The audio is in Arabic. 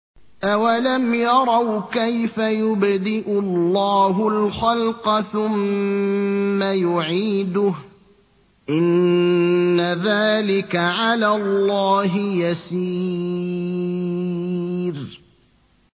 أَوَلَمْ يَرَوْا كَيْفَ يُبْدِئُ اللَّهُ الْخَلْقَ ثُمَّ يُعِيدُهُ ۚ إِنَّ ذَٰلِكَ عَلَى اللَّهِ يَسِيرٌ